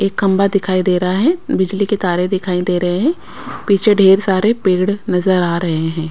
एक खंबा दिखाई दे रहा है बिजली के तारे दिखाई दे रहे हैं पीछे ढेर सारे पेड़ नजर आ रहे हैं।